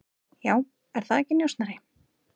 Já, er það ekki, njósnari?